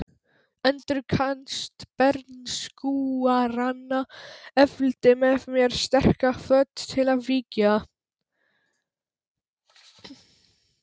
Endurkast bernskuáranna efldi með mér sterka hvöt til að vígja